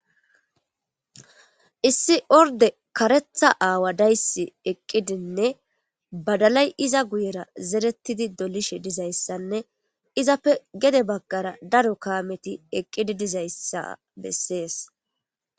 issi orde karetha aawa dayssi eqqidinne badalay iza guyera zerettidi dolishe dizayssanne izappe gede baggara daro kaameti eqqidi dizayssa bessees